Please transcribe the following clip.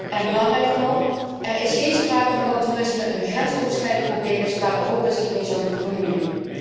En belangrijker nog, er is geen sprake van dat toerisme een grensoverschrijdend probleem is waar Europa zich mee zou moeten bemoeien.